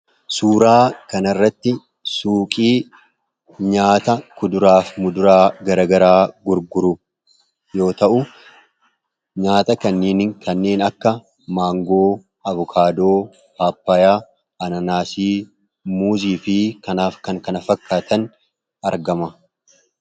Suuraa kanarratti suuqii nyaata kuduraa fi muduraa garaagaraa gurguru yoo ta'u, nyaata kanneen akka maangoo, avokaadoo, paappaayaa, anaanaasii, muuzii fi kanaaf kan kana fakkaatan argama.